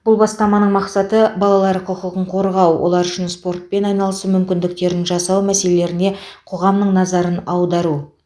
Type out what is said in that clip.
бұл бастаманың мақсаты балалар құқығын қорғау олар үшін спортпен айналысу мүмкіндіктерін жасау мәселелеріне қоғамның назарын аудару